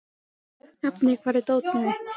Hafný, hvar er dótið mitt?